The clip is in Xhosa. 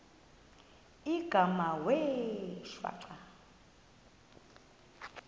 igama wee shwaca